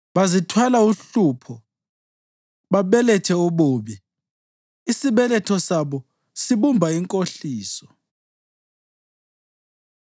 Bazithwala uhlupho babelethe ububi; isibeletho sabo sibumba inkohliso.”